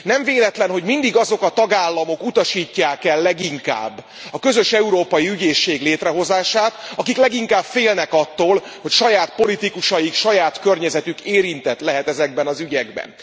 Nem véletlen, hogy mindig azok a tagállamok utasítják el leginkább a közös európai ügyészség létrehozását, akik leginkább félnek attól, hogy saját politikusaik, saját környezetük érintett lehet ezekben az ügyekben.